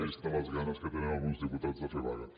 vistes les ganes que tenen alguns diputats de fer vaga